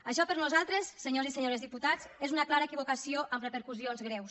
això per nosaltres senyors i senyores diputats és una clara equivocació amb repercussions greus